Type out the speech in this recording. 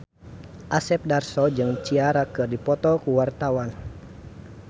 Asep Darso jeung Ciara keur dipoto ku wartawan